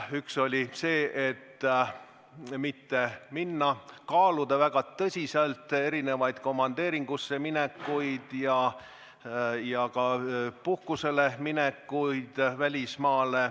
Üks oli see, et mitte minna komandeeringusse ja kaaluda väga tõsiselt ka välismaale puhkusele minekut.